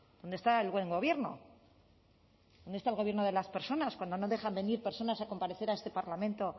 dónde está el buen gobierno dónde está el gobierno de las personas cuando no dejan venir personas a comparecer a este parlamento